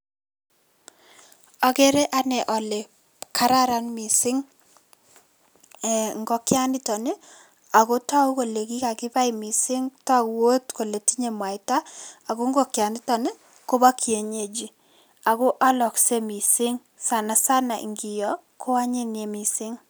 Ageere ane ale kararan mising ee ngokianito ako toku kole kikakibai mising, toku akot kole tinyei mwaita ako ngokianito kobo kienyeji ako alaksei mising sanasana ngio ko anyiny mising.